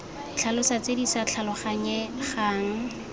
tlhalosa tse di sa tlhaloganyegang